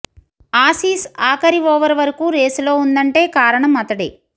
Aussies ఆఖరి over వరకు రేసులో ఉందంటే కారణం అతడే